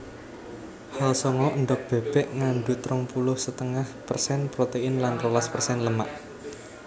Hal songo Endhog bèbèk ngandhut rong puluh setengah persen protein lan rolas persen lemak